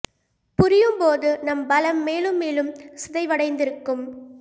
புரியும் போது நம் பலம் மேலும் மேலும் சிதைவடைந்திருக்கும்